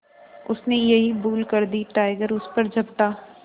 उसने यही भूल कर दी टाइगर उस पर झपटा